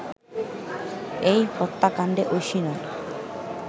এই হত্যাকাণ্ডে ঐশী নয়